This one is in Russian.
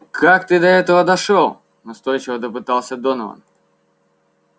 как ты до этого дошёл настойчиво допытывался донован